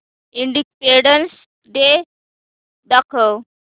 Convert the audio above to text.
independence day दाखव